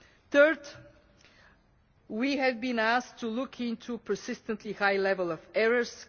Third, we have been asked to look into the persistently high level of errors.